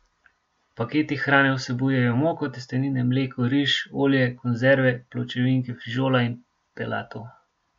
Paketi hrane vsebujejo moko, testenine, mleko, riž, olje, konzerve, pločevinke fižola in pelatov.